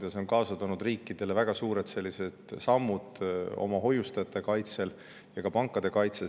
See tõi riikidele kaasa väga suured sammud oma hoiustajate ja pankade kaitsel.